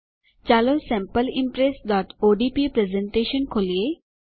ચાલો sample impressઓડીપી presentation ખોલીએ